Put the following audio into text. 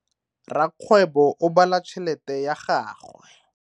Rakgwebo o bala tšhelete ya gagwe.